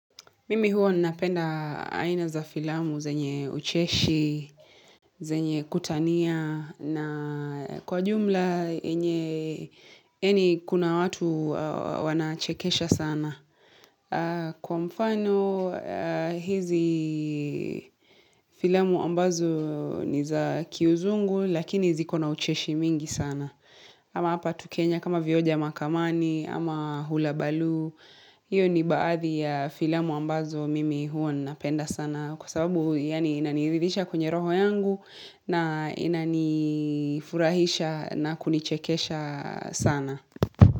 Mimi huwa ninapenda aina za filamu zenye ucheshi, zenye kutania, na kwa ujumla yenye yaani kuna watu wanachekesha sana. Kwa mfano, hizi filamu ambazo ni za kiuzungu, lakini ziko na ucheshi mingi sana. Ama hapa tu Kenya kama vioja mahakamani, ama hula baloo, hiyo ni baadhi ya filamu ambazo mimi huwa ninapenda sana kwa sababu inaniridhisha kwenye roho yangu na inanifurahisha na kunichekesha sana.